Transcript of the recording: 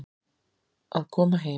Að koma heim